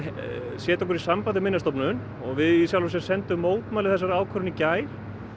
setja okkur í samband við Minjastofnun og við í sjálfu sér sendum mótmæli við þessari ákvörðun í gær